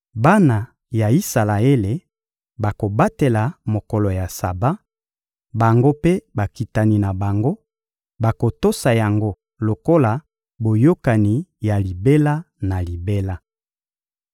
Bana ya Isalaele bakobatela mokolo ya Saba; bango mpe bakitani na bango bakotosa yango lokola boyokani ya libela na libela.